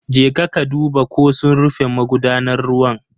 Jeka ka duba ko sun rufe magudanar ruwa.